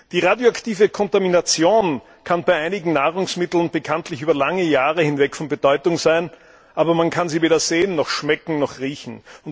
Die radioaktive Kontamination kann bei einigen Nahrungsmitteln bekanntlich über lange Jahre hinweg von Bedeutung sein, aber man kann sie weder sehen, noch schmecken, noch riechen.